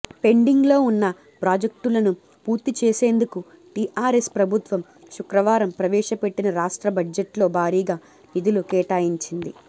పెండింగ్లో ఉన్న ప్రాజెక్టులను పూర్తి చేసేందుకు టీఆర్ఎస్ ప్రభుత్వం శుక్రవారం ప్రవేశపెట్టిన రాష్ట్ర బడ్జెట్లో భారీగా నిధులు కేటాయించింది